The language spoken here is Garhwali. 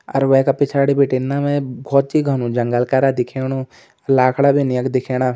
और वेका पिछाडी भिटिन न में बहौत ही घनु जंगल करा दिख्याणु लाखड़ा बिन यख दिख्येणा।